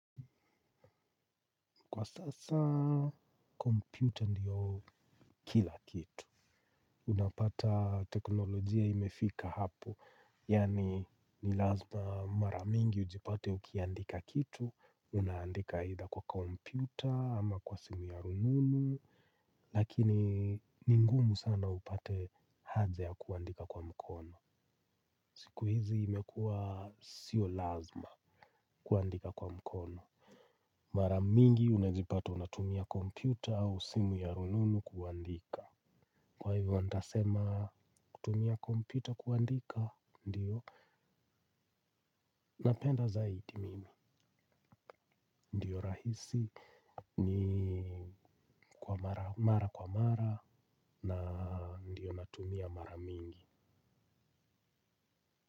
Kwa sasa, kompyuta ndiyo kila kitu. Unapata teknolojia imefika hapo. Yani, ni lazima maramingi ujipate ukiandika kitu. Unaandika aitha kwa kompyuta ama kwa simu ya rununu. Lakini ni ngumu sana upate haja ya kuandika kwa mkono. Siku hizi imekua siyo lazima kuandika kwa mkono. Maramingi unajipata unatumia kompyuta au simu ya rununu kuandika. Kwa hivyo nitasema kutumia kompyuta kuandika ndio napenda zaidi mimi ndio rahisi ni kwa mara kwa mara na ndio natumia maramingi.